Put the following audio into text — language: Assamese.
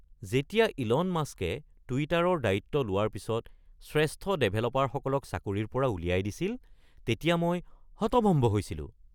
যেতিয়া ইলন মাস্কে টুইটাৰৰ দায়িত্ব লোৱাৰ পিছত শ্ৰেষ্ঠ ডেভেলপাৰসকলক চাকৰিৰ পৰা উলিয়াই দিছিল, তেতিয়া মই হতভম্ব হৈছিলোঁ।